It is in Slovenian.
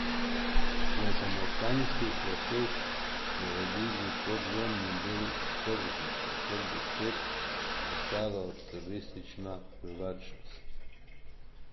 V samostanskih kleteh bi uredili podzemni del tržnice, kar bi spet postalo turistična privlačnost.